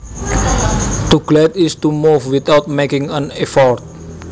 To glide is to move without making an effort